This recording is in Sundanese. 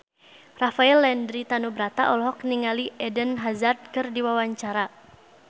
Rafael Landry Tanubrata olohok ningali Eden Hazard keur diwawancara